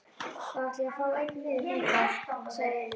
Þá ætla ég að fá einn miða þangað, sagði Emil.